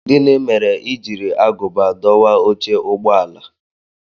Gini mere i jiri agụba dọwaa oche ụgbọ ala?